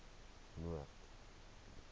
noord